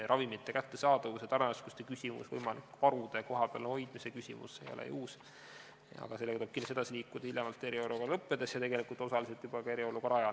Ravimite kättesaadavuse, tarneraskuste ja võimalik varude kohapeal hoidmise küsimus ei ole ju uus, aga sellega tuleb kindlasti edasi liikuda hiljemalt eriolukorra lõppedes ja tegelikult osaliselt juba ka eriolukorra ajal.